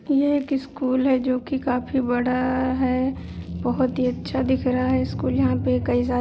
ये एक स्कूल है जो कि काफी बड़ा है बहुत ही अच्छा दिख रहा है स्कूल यहाँ पे कई सारे --